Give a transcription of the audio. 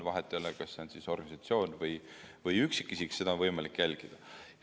Vahet ei ole, kas see on organisatsioon või üksikisik, seda on võimalik jälgida.